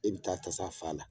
E bi taa tasa fa a la